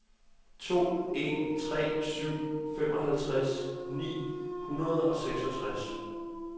to en tre syv femoghalvtreds ni hundrede og seksogtres